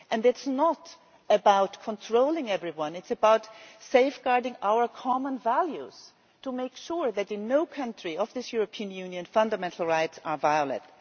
This is not about controlling everyone it is about safeguarding our common values to make sure that in no country of this European Union are fundamental rights violated.